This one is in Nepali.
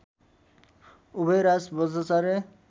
उभयराज वज्राचार्य